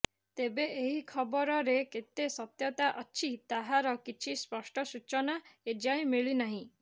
ତେବେ ଏହି ଖବରରେ କେତେ ସତ୍ୟତା ଅଛି ତାହାର କିଛି ସ୍ପଷ୍ଟ ସୂଚନା ଏଯାଏ ମିଳିନାହିଁ